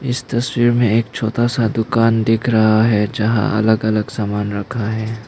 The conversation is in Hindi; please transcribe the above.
इस तस्वीर में एक छोटा सा दुकान दिख रहा है जहां अलग अलग सामान रखा है।